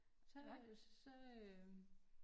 Så øh så øh